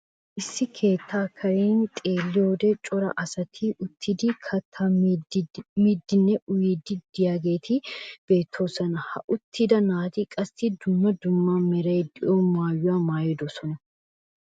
Issi keettaa karen xeelliyoode cora asati uttidi kattaa miiddinne uyiidi de'iyaageti beettoosona. ha uttida naati qassi dumma dumma meraara de'iyaa maayuwaa maayidosona.